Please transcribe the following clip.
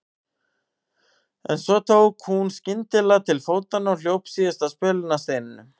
En svo tók hún skyndilega til fótanna og hljóp síðasta spölinn að steininum.